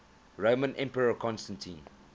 roman emperor constantine